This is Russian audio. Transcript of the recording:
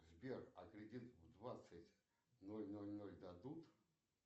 сбер а кредит в двадцать ноль ноль ноль дадут